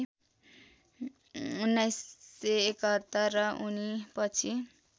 १९७१ र उनीपछि